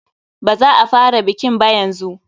Baza a fara bikin ba yanzu.